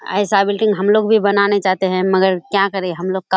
ऐसा बिल्डिंग हम लोग भी बनाना चाहते हैं मगर क्या करे हम लोग का --